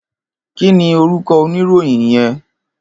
Kini órúkò óniróyìn yèn?